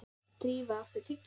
Drífa, áttu tyggjó?